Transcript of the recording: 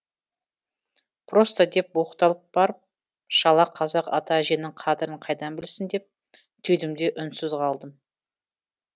просто деп оқталып барып шала қазақ ата әженің қадірін қайдан білсін деп түйдім де үнсіз қалдым